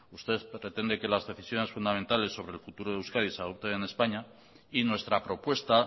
usted pretende que las decisiones fundamentales sobre el futuro de euskadi se adopten en españa y nuestra propuesta